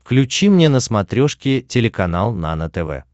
включи мне на смотрешке телеканал нано тв